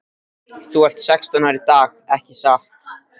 Þú ert sextán ára í dag ekki satt?